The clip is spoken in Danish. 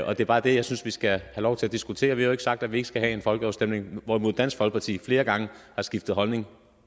og det er bare det jeg synes vi skal have lov til at diskutere vi har jo ikke sagt at vi ikke skal have en folkeafstemning hvorimod dansk folkeparti flere gange har skiftet holdning